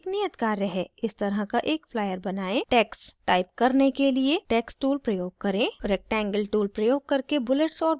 इस तरह का एक flyer बनाएं टेक्स्ट्स टाइप करने एक लिए टेक्स्ट टूल प्रयोग करें रेक्टेंगल टूल प्रयोग करके बुलेट्स और बॉक्सेस बनाएं